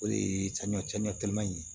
O de ye sanɲɔ sanɲɔ kɛlɛ man ɲi